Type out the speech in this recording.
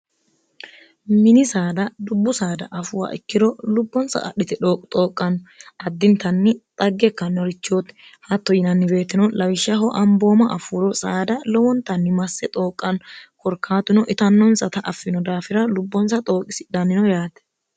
mini saada dubbu saada afuuwa ikkiro lubbonsa adhite dxooqqanno addintanni xagge kannorichooti hatto yinannibeettino lawishshaho ambooma afuuro saada lowontanni masse xooqqanno korkaatino itannonsata affino daafira lubbonsa xooqisidhannino yaate